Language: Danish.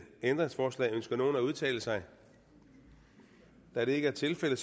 ændringsforslag ønsker nogen at udtale sig da det ikke er tilfældet